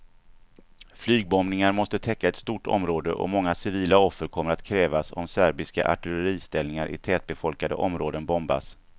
Flygbombningar måste täcka ett stort område, och många civila offer kommer att krävas om serbiska artilleriställningar i tättbefolkade områden bombas.